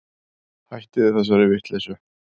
Hættiði þessari vitleysu.